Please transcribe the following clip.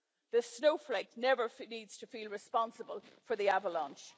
The snowflake never needs to feel responsible for the Avalanche.